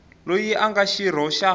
loyi a nga xirho xa